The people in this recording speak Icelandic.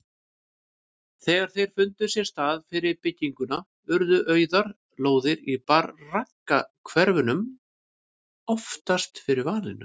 Þegar þeir fundu sér stað fyrir bygginguna urðu auðar lóðir í braggahverfunum oftast fyrir valinu.